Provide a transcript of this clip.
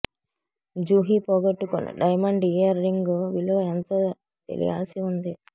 జుహీ పోగొట్టుకున్న diamond earring విలువ ఎంతో తెలియాల్సి ఉంది